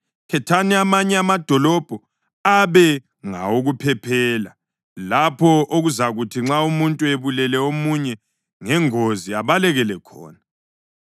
khethani amanye amadolobho abe ngawokuphephela, lapho okuzakuthi nxa umuntu ebulele omunye ngengozi abalekele khona.